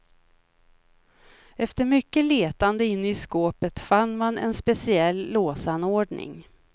Efter mycket letande inne i skåpet fann man en speciell låsanordning.